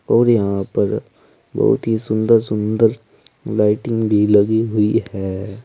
और यहां पर बहुत ही सुंदर सुंदर लाइटिंग भी लगी हुई है।